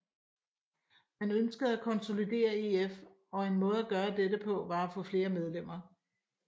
Man ønskede at konsolidere EF og en måde at gøre dette på var at få flere medlemmer